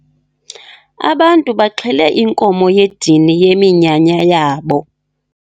Abantu baxhele inkomo yedini yeminyanya yabo.